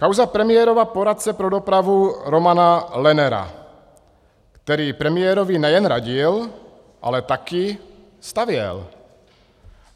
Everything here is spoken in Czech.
Kauza premiérova poradce pro dopravu Romana Lennera, který premiérovi nejen radil, ale taky stavěl.